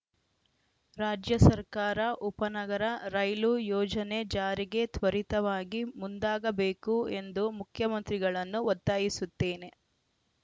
ರಾಜ್ಯ ಸರ್ಕಾರ ಉಪನಗರ ರೈಲು ಯೋಜನೆ ಜಾರಿಗೆ ತ್ವರಿತವಾಗಿ ಮುಂದಾಗಬೇಕು ಎಂದು ಮುಖ್ಯಮಂತ್ರಿಗಳನ್ನು ಒತ್ತಾಯಿಸುತ್ತೇನೆ